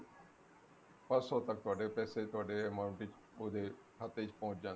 ਪਰਸੋ ਤੱਕ ਤੁਹਾਡੇ ਪੈਸੇ ਤੁਹਾਡੇ amount ਵਿੱਚ ਤੁਹਾਡੇ ਖਾਤੇ ਵਿੱਚ ਪਹੁੰਚ ਜਾਣਗੇ